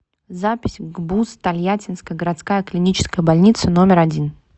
запись гбуз тольяттинская городская клиническая больница номер один